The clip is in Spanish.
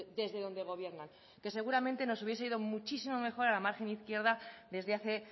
desde donde gobiernan que seguramente nos hubiera ido muchísimo mejor a la margen izquierda desde hace